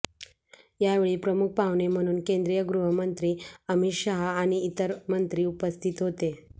यावेळी प्रमुख पाहुणे म्हणून केंद्रीय गृहमंत्री अमित शाह आणि इतर मंत्री उपस्थित होते